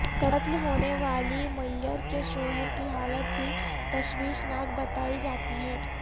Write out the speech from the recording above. قتل ہونے والی میئر کے شوہر کی حالت بھی تشویشناک بتائی جاتی ہے